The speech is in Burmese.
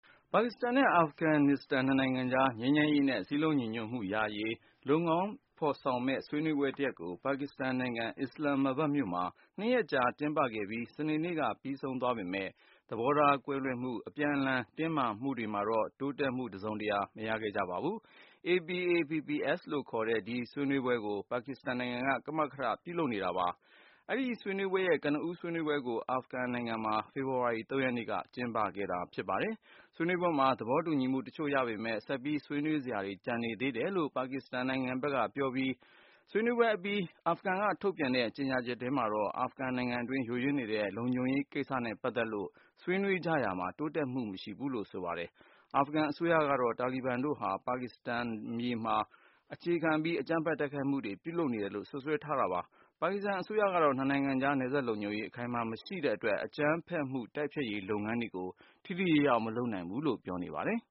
ပါကစ္စတန်နဲ့ အာဖဂန်နစ္စတန် နှစ်နိုင်ငံကြား ငြိမ်းချမ်းရေးနဲ့ စည်းလုံးညီညွတ်မှုရရေး လုပ်ငန်းဖေါ်ဆောင်မယ့် ဆွေးနွေးပွဲတရပ်ကို ပါကစ္စတန် နိုင်ငံ အစ္စလမ်မာဘတ် မြို့မှာ နှစ်ရက်ကြာ ကျင်းပခဲ့ပြီး စနေနေ့က ပြီးဆုံးသွားပေမယ့် သဘောထားကွဲလွဲမှု အပြန်လှန် တင်းမာမှုတွေမှာတော့ တစုံတရာ တိုးတက်မှု မရခဲ့ကြပါဘူး။ APAPPS (Afghanistan-Pakistan Action Plan for Peace and Solidarity) လို့ခေါ်တဲ့ ဒီဆွေးနွေးပွဲကို ပါကစ္စတန်နိုင်ငံက မကမထ လုပ်တာဖြစ်ပါတယ်။ APAPPS ရဲ့ကနဦး ဆွေးနွေးပွဲကိုတော့ အာဖဂန်နစ္စတန် နိုင်ငံ ကဗူးမြို့မှာ ဖေဖေါ်ဝါရီ (၃)ရက်နေ့က ပြုလုပ်ခဲ့တာ ဖြစ်ပါတယ်။ ဆွေးနွေးပွဲမှာ သဘောတူညီမှု တချို့ရပေမယ့် ဆက်ပြီးဆွေနွေးစရာတွေ ကျန်နေသေးတယ်လို့ ပါကစ္စတန်နိုင်ငံခြားရေး ဝန်ကြီးဌာန ပြောခွင့်ရက ဆိုပေမယ့် အသေးစိတ်ကိုတော့ မပြောပါဘူး။ ဆွေးနွေးပွဲအပြီး အာဖဂန်ဘက်က ထုတ်ပြန်တဲ့ ကြေညာချက်ထဲမှာတော့ အာဖဂန်နိုင်ငံအတွင်း ယိုယွင်းနေတဲ့ လုံခြုံရေးကိစ္စနဲ့ ပတ်သက်လို့ ဆွေးနွေးကြရာမှာ တိုးတက်ဖြစ်ထွန်းမှု မရှိခဲ့ဘူးလို့ ဆိုပါတယ်။ အာဖဂန်အစိုးရကတော့ တာလီဘန်စစ်သွေးကြွတွေဟာ ပါကစ္စတန်မြေမှာ အခြေခံပြီး အကြမ်းဖက် တိုက်ခိုက်မှုတွေ လုပ်နေတယ်လို့ စွပ်စွဲထားပါတယ်။ ပါကစ္စတန် အစိုးရကတော့ နှစ်နိုင်ငံအကြား နယ်စပ်လုံခြုံရေး အခိုင်မာမရှိတဲ့အတွက် အကြမ်းဖက်မှု တိုက်ဖျက်ရေး လုပ်ငန်းတွေကို ထိထိရောက်ရောက် မဆောင်ရွက်နိုင်ဘူးလို့ အခိုင်မာပြောနေပါတယ်